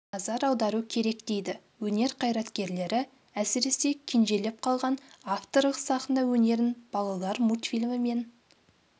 назар аудару керек дейді өнер қайраткерлері әсіресе кенжелеп қалған авторлық сахна өнерін балалар мультфильмі мен